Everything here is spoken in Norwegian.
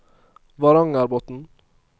Varangerbotn